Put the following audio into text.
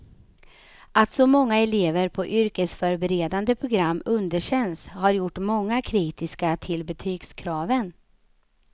Att så många elever på yrkesförberedande program underkänns har gjort många kritiska till betygskraven.